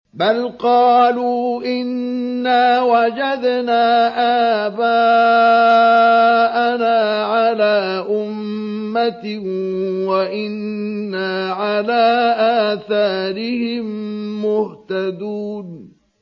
بَلْ قَالُوا إِنَّا وَجَدْنَا آبَاءَنَا عَلَىٰ أُمَّةٍ وَإِنَّا عَلَىٰ آثَارِهِم مُّهْتَدُونَ